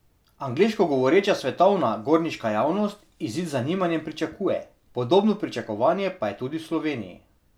Angleško govoreča svetovna gorniška javnost izid z zanimanjem pričakuje, podobno pričakovanje pa je tudi v Sloveniji.